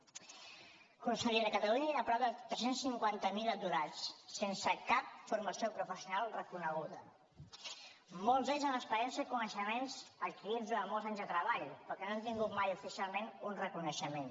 consellera a catalunya hi ha prop de tres cents i cinquanta miler aturats sense cap formació professional reconeguda molts d’ells amb experiència i coneixements adquirits durant molts anys de treball però que no han tingut mai oficialment un reconeixement